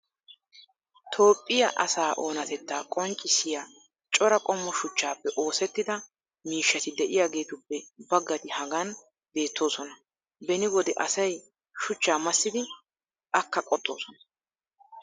toophphiya asaa oonatettaa qonccissiya cora qommo shuchchaappe oosettida miishsati diyaagetuppe baggati hagan beetoosona. beni wode asay shuchchaa massidi akka qoxxoosona.